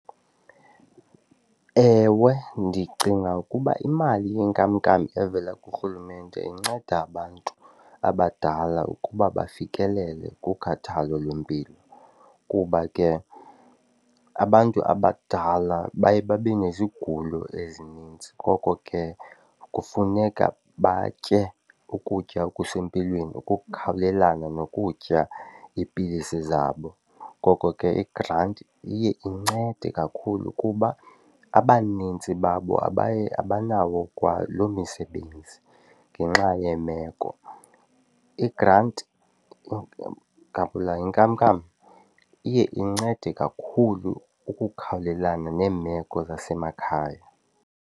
Ewe, ndicinga ukuba imali yenkamnkam evela kuRhulumente inceda abantu abadala ukuba bafikelele kukhathalo lwempilo kuba ke abantu abadala baye babe nezigulo ezininzi ngoko ke kufuneka batye ukutya okusempilweni ukukhawulelana nokutya iipilisi zabo. Ngoko ke igranti iye incede kakhulu kuba abanintsi babo abaye abanawo kwalo misebenzi ngenxa yemeko. Igranti, ngabula inkamnkam, iye incede kakhulu ukukhawulelana neemeko zasemakhaya.